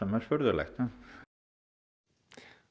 er furðulegt